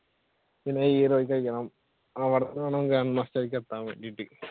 പിന്നെ heroic അടിക്കണം അവിടെന്നുവേണം grandmaster ലേക്ക് എത്താൻ വേണ്ടിയിട്ട്